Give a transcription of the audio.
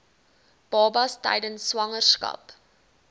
babas tydens swangerskap